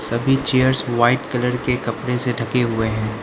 सभी chairs white colour के कपड़े से ढके हुए हैं।